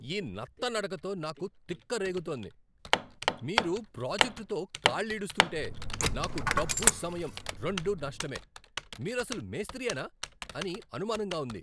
ఈ నత్తనడకతో నాకు తిక్క రేగుతోంది. మీరు ప్రాజెక్టుతో కాళ్ళీడుస్తుంటే నాకు డబ్బు సమయం రెండూ నష్టమే, మీరసలు మేస్త్రీయేనా అని అనుమానంగా ఉంది!